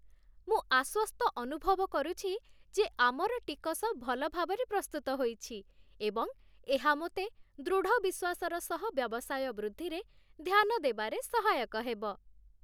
ମୁଁ ଆଶ୍ୱସ୍ତ ଅନୁଭବ କରୁଛି ଯେ ଆମର ଟିକସ ଭଲ ଭାବରେ ପ୍ରସ୍ତୁତ ହୋଇଛି, ଏବଂ ଏହା ମୋତେ ଦୃଢ଼ ବିଶ୍ୱାସର ସହ ବ୍ୟବସାୟ ବୃଦ୍ଧିରେ ଧ୍ୟାନ ଦେବାରେ ସହାୟକ ହେବ।